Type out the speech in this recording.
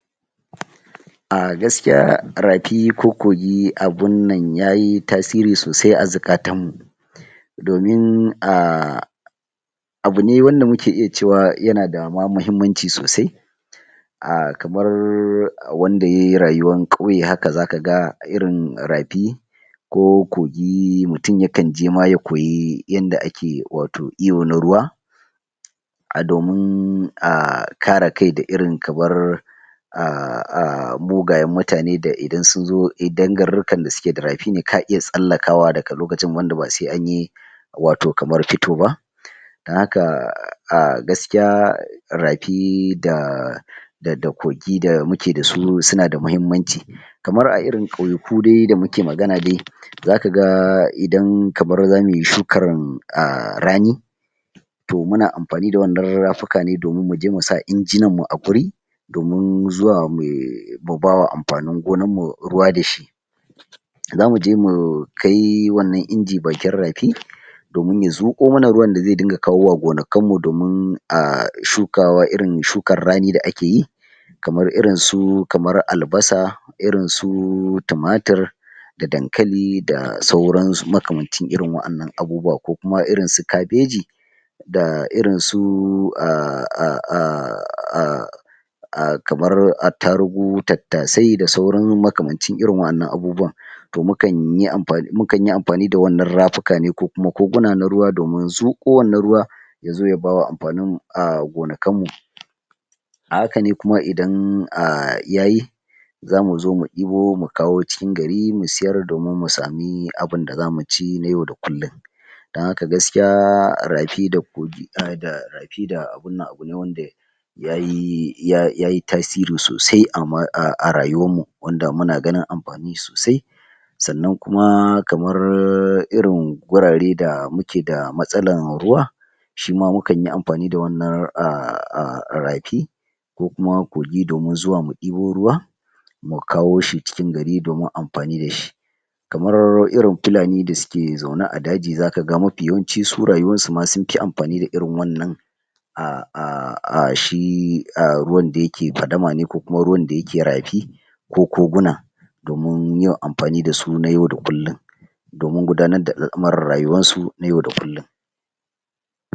Ah gaskiya, rafi ko kogi abun na yayi tasiri sosai a zuƙatan mu domin ah, abu ne wanda muke iya cewa yana da ma mahimmanci sosai ah, kamar wanda yayi rayuwan ƙauye haka zaka ga irin rafi ko kogi mutun yakan je ma ya koyi inda ake wato ɗiba na ruwa ah, domin ah, kare kai da irin kamar ah, ah, mugayen mutane da idan sun zo idan garurrukan da suke da rafi ne ka iya tsallakawa daga lokacin wanda ba sai an yi wato kamar fito ba a haka ah, ah, gaskiya rafi da da kogi da muke da su suna da mahimmanci kamar a irin ƙauyaku dai da muke magana dai zaka ga idan kamar zamu yi shukan ah, rani to muna amfani da wannan rafuka ne domin mu je musa injinan guri domin zuwa mu ba wa amfanin gonan mu ruwa da shi zamu je mu kai wannan inji bakin rafi domin ya zuƙo mana ruwan da zai dinga kawowa gonakin mu domin ah, shukawa irin shukar rani da ake yi kamar irin su kamar albasa irin su tumatir da dankali da sauran su makamacin irin waƴannan abubuwan ko kuma irin su kabeji da irin su ah, ah, ah, ah, ah kamar attarugu, tattasai da sauran makamancin irin waƴannan abubuwan to mukan yi amfani da wannan rafuka ne ko kuma koguna na ruwa domin zuƙo wannan ruwa ya zo ya ba wa amfanin ah, gonakan mu a haka ne kuma idan ah, yayi zamu zo mu ɗibo mu kawo cikin gari mu siyar domin mu sami abunda zamu ci na yau da kullun dan haka gaskiya rafi da kogi da rafi da abin nan abu ne wanda yayi tasiri sosai a rayuwan mu wanda muna ganin amfani sosai sannan kuma kamar irin gurare da muke da matsalan ruwa shi ma mukan yi amfani da wannan ah, ah, rafi ko kuma kogi domin zuwa mu ɗibo ruwa mu kawo shi cikin gari domin amfani da shi kamar irin Fulani da suke zaune a daji zaka ga mafi yawanci su rayuwan su ma sun fi amfani da irin wannan ah, ah, ah shi ah ruwan da yake fadama ne ko kuma ruwan da yake rafi ko koguna domin yawan amfani da su na yau da kullun domin gudanar da al'amurran rayuwar su na yau da kullun